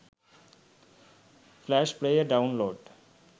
flash player download